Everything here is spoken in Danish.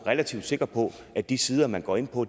relativt sikker på at de sider man går ind på